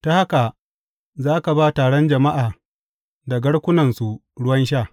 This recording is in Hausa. Ta haka za ka ba taron jama’a da garkunansu ruwan sha.